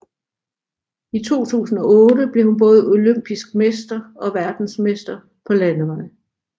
I 2008 blev hun både olympisk mester og verdensmester på landevej